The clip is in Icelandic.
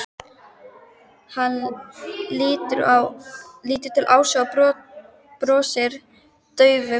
Hann lítur til Ásu og brosir daufu brosi.